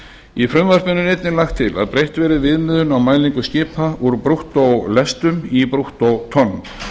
í frumvarpinu er einnig lagt til að breytt verði viðmiðun á mælingu skipa úr brúttólestum í brúttótonn